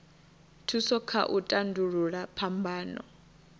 thusa kha u tandulula phambano